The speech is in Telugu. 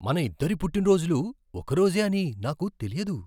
మనిద్దరి పుట్టిన రోజులు ఒక రోజే అని నాకు తెలియదు.